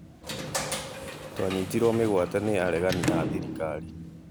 Twanyitirwo mĩgwate nĩ aregani a thirikari